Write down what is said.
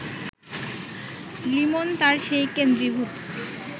লিমন তার সেই কেন্দ্রীভূত